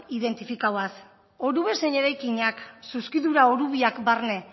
identifikatuz orubeak zein eraikinak zuzkidura orubeak barne